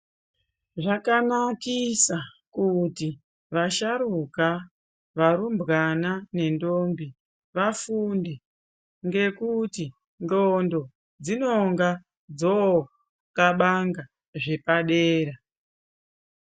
Zvakanakisa kuti vasharukwa , varumbwana ne ntombi vafunde ngekuti ndxondo dzinonga dzoxabanga zvopadera.